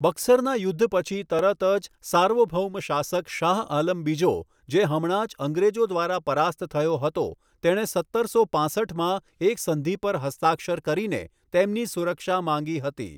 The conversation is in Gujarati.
બક્સરના યુદ્ધ પછી તરત જ, સાર્વભૌમ શાસક શાહ આલમ બીજો, જે હમણાં જ અંગ્રેજો દ્વારા પરાસ્ત થયો હતો, તેણે સત્તરસો પાંસઠમાં એક સંધિ પર હસ્તાક્ષર કરીને તેમની સુરક્ષા માંગી હતી.